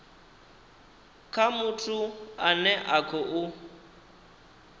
kha muthu ane a khou